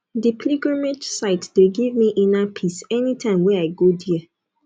di pilgrimage site dey give me inner peace anytime wey i go there